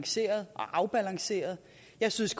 jeg synes